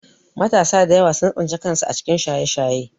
Matasa da yawa sun tsinci kansu a cikin Shaye-Shaye